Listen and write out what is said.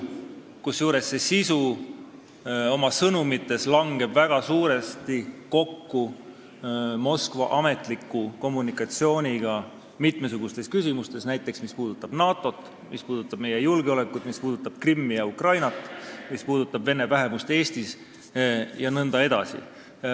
Kusjuures see sisu langeb oma sõnumitelt suuresti kokku Moskva ametliku kommunikatsiooniga mitmesugustes küsimustes, näiteks küsimustes, mis puudutavad NATO-t, meie julgeolekut, Krimmi ja Ukrainat, vene vähemust Eestis jne.